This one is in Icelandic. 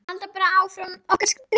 Halda bara áfram okkar striki.